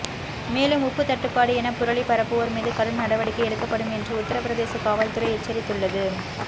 மேலும் உப்பு தட்டுபாடு என புரளி பரப்புவோர் மீது கடும் நடவடிக்கை எடுக்கப்படும் என்று உத்தரபிரதேச காவல்துறை எச்சரித்துள்ளது